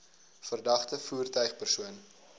verdagte voertuig persoon